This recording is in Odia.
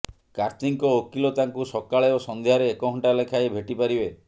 କାର୍ତ୍ତିଙ୍କ ଓକିଲ ତାଙ୍କୁ ସକାଳେ ଓ ସଂଧ୍ୟାରେ ଏକ ଘଣ୍ଟା ଲେଖାଏଁ ଭେଟି ପାରିବେ